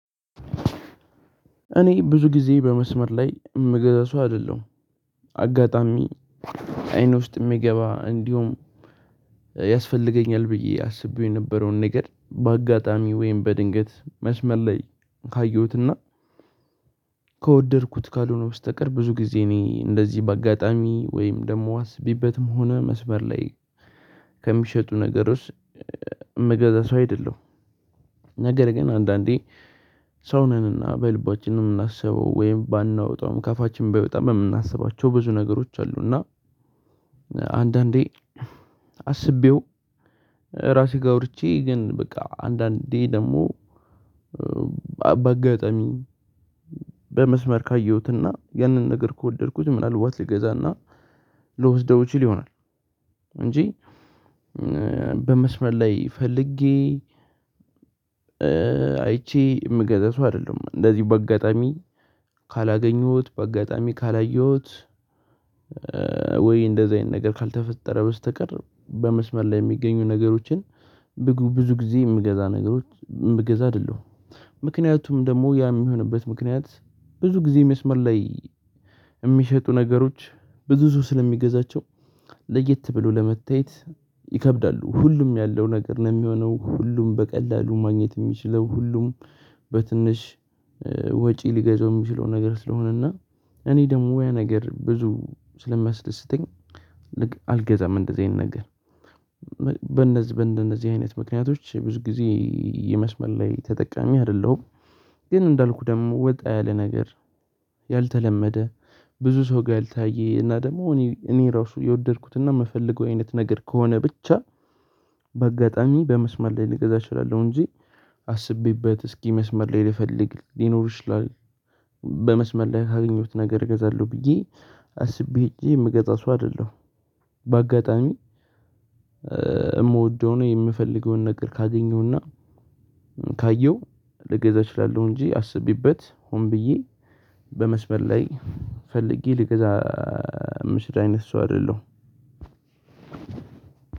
እኔ ብዙ ጊዜ በመስመር ላይ የምገዛ ሰው አይደለሁም። አጋጣሚ አይን ውስጥ የሚገባ እንዲሁም ያስፈልገኛል። ብዬ አስቤው የነበረውን ነገር በአጋጣሚ ወይም በድንገት መስመር ላይ ካየሁትና ከወደድኩት ካልሆነ በስተቀር ብዙ ጊዜ እኔ እንደዚህ በአጋጣሚ ወይም ደግሞ አስቢበትም ሆነ መስበር ላይ ከሚሸጡ ነገሮች ምገዛት ሰው አይደለሁም ነገር ግን አንዳንዴ ሰው ነንና፣ በልባችን ነው የምናስበው ወይም ባናወጣውም ከፋችን ባይወጣም የምናስባቸው ብዙ ነገሮች አሉና፣ አንዳንዴ አስቤው ራሴ ጋር ወርጄ ግን በቃ አንዳንዴ ደግሞ ባጋጣሚ በመስመር ካየሁትና ያንን ነገር ከወደድኩት ምናልባት ልገዛና ልወስደው ይችል ይሆናል። እንጂ በመስመር ላይ ፈልጌ አይቼ የምገዛው ሰው አይደለም እንደዚሁ በአጋጣሚ ካላገኙት፣ በአጋጣሚ ካላየሁት፣ ወይ እንደዚህ አይነት ነገር ካልተፈጠረ በስተቀር በመስመር ላይ የሚገኙ ነገሮችን ብዙ ጊዜ የምገዛ ነገሮች ምገዛ አይደለሁም። ምክንያቱም ደግሞ ያ የሚሆንበት ምክንያት ብዙ ጊዜ መስመር ላይ የሚሸጡ ነገሮች ብዙ ሰው ስለሚገዛቸው ለየት ብሎ ለመታየት ይከብዳሉ። ሁሉም ያለው ነገር ነው የሚሆነው፣ ሁሉም በቀላሉ ማግኘት የሚችለው፣ ሁሉም በትንሽ ወጪ ሊገዛው የሚችለው ነገር ስለሆነና፣ እኔ ደግሞ ያ ነገር ብዙ ስለማያስደስተኝ ል አልገዛም እንደዚህ አይነገርም። በእንደዚህ በእንደዚህ አይነት ምክንያቶች ብዙ ጊዜ የመስመል ላይ ተጠቃሚ አይደለሁም። ግን እንዳልኩህ ደግሞ ወጣ ያለ ነገር ያልተለመደ ብዙ ሰው ጋር ያልታየ እና ደግሞ እኔ ራሱ የወደድኩት እና የምፈልገው አይነት ነገር ከሆነ ብቻ በአጋጣሚ በመስመር ላይ ልገዛ እችላለሁ። እንጂ አስቤበት እስኪ መስመር ላይ ልፈልግ ሊኖሩ ይችላል። በመስመል ላይ ካገኘሁት ነገር እገዛለሁ። ብዬ አስቤ ሄጄ የምገዛ ሰው አይደለሁም። በአጋጣሚ የምወደው ነው፣ የምፈልገውን ነገር ካገኘውና፣ ካየው ልገዛ እችላለሁ። እንጂ አስቢበት ሆን ብዬ በመስበር ላይ ፈልጌ ልግዛ ምሽት አይነት ሰው አይደለሁም።